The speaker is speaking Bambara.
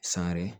San yɛrɛ